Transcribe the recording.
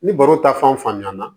Ni baro ta fan fan ɲana